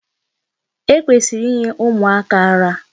E kwesịrị inye ụmụaka ara.